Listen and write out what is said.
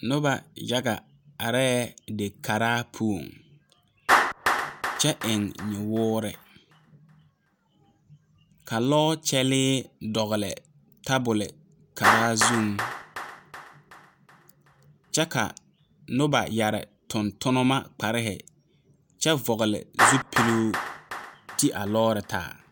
Noba yaga are dikaara poɔ, kyɛ eŋ nyawɔɔre, ka lɔ kyɛle dogle tabol kaara zuŋ, kyɛ ka noba yeere tontonma kpare kyɛ vɔgle zupele ti a lɔre taa.